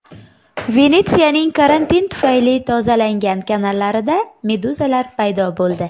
Venetsiyaning karantin tufayli tozalangan kanallarida meduzalar paydo bo‘ldi .